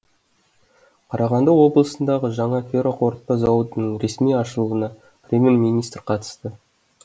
қарағанды облысындағы жаңа ферроқорытпа зауытының ресми ашылуына премьер министр қатысты